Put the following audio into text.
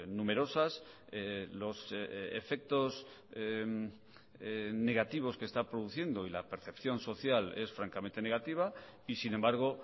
numerosas los efectos negativos que está produciendo y la percepción social es francamente negativa y sin embargo